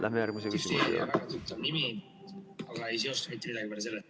Lähme järgmise küsimuse juurde.